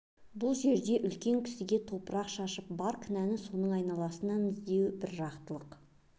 бұл жерде үлкен кісіге топырақ шашып бар кінәні соның айналасынан іздеу бір жақтылық